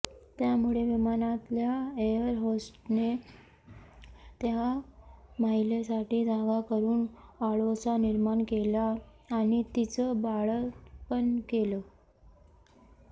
त्यामुळे विमानातल्या एअर होस्टेसने त्या महिलेसाठी जागा करून आडोसा निर्माण केला आणि तिचं बाळंतपण केलं